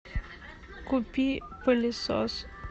купи пылесос